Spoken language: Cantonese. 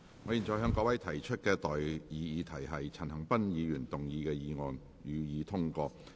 我現在向各位提出的待議議題是：陳恒鑌議員動議的議案，予以通過。